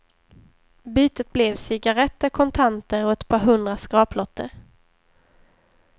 Bytet blev cigaretter, kontanter och ett par hundra skraplotter.